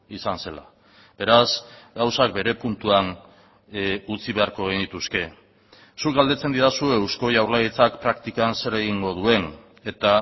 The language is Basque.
izan zela beraz gauzak bere puntuan utzi beharko genituzke zuk galdetzen didazu eusko jaurlaritzak praktikan zer egingo duen eta